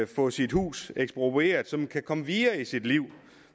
få sit hus eksproprieret så man kan komme videre i sit liv